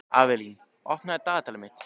Avelín, opnaðu dagatalið mitt.